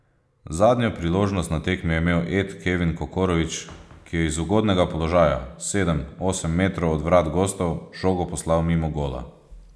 Zadnjo priložnost na tekmi je imel Ed Kevin Kokorović, ki je z ugodnega položaja, sedem, osem metrov od vrat gostov, žogo poslal mimo gola.